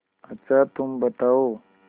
अच्छा तुम बताओ